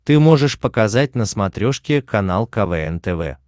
ты можешь показать на смотрешке канал квн тв